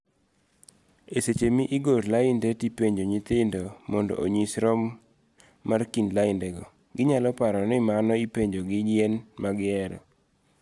Eseche miigoro lainde tipenjo nyithindo mondo onyisi rom mar kind laindego, ginyalo paro nimano ipenjogi yien magihero,